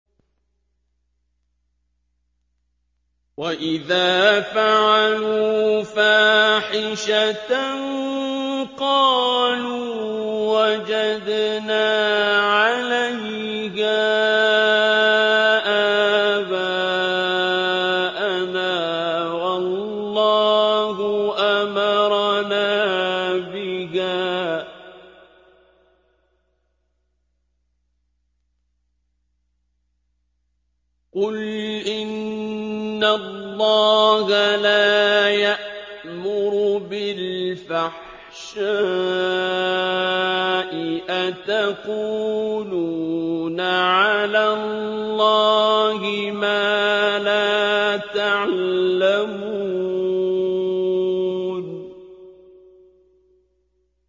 وَإِذَا فَعَلُوا فَاحِشَةً قَالُوا وَجَدْنَا عَلَيْهَا آبَاءَنَا وَاللَّهُ أَمَرَنَا بِهَا ۗ قُلْ إِنَّ اللَّهَ لَا يَأْمُرُ بِالْفَحْشَاءِ ۖ أَتَقُولُونَ عَلَى اللَّهِ مَا لَا تَعْلَمُونَ